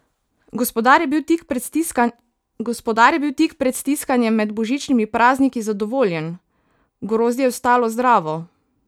Gospodar je bil tik pred stiskanjem med božičnimi prazniki zadovoljen: "Grozdje je ostalo zdravo.